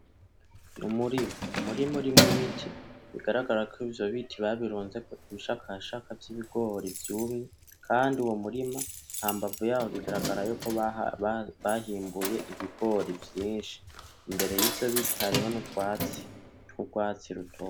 Numurima , umurima urimwo ibiti , bigaragara ko ivyo biti babirunzeko ibishakashaka vyibigori vyumye , Kandi uwo murima hambavu yaho bigaragara ko bahimbuye ibigori vyinshi , imbere yivyo biti hariho nurwatsi , twurwatsi rutoto .